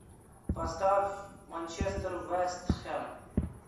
поставь манчестер вест хэм